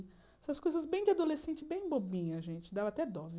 Essas coisas bem de adolescente, bem bobinha, gente, dava até dó, né?